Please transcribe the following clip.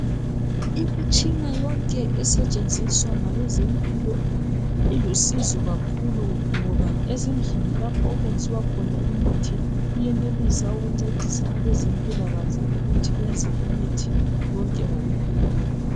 Imitshina yonke esetshenziswa ngabezempilo ilusizo kakhulu ngoba ezindlini lapho okwenziwa khona imithi iyenelisa ukuncedisa abezempilakahle ukuthi benze imithi yonke ngokupheleleyo